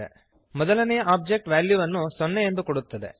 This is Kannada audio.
ಮೊದಲನೆಯ ಒಬ್ಜೆಕ್ಟ್ ವ್ಯಾಲ್ಯುವನ್ನು 0 ಎಂದು ಕೊಡುತ್ತದೆ